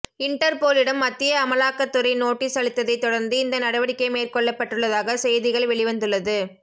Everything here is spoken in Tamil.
இண்டர்போலிடம் மத்திய அமலாக்கத்துறை நோட்டீஸ் அளித்ததை தொடர்ந்து இந்த நடவடிக்கை மேற்கொள்ளப்பட்டுள்ளதாக செய்திகள் வெளிவந்துள்ளது